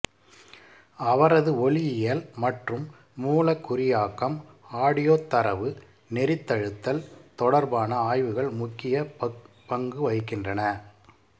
அவரது ஒலியியல் மற்றும் மூலகுறியாக்கம் ஆடியோத் தரவு நெரித்தழுத்தல் தொடர்பான ஆய்வுகள் முக்கிய பங்குவகிக்கின்றன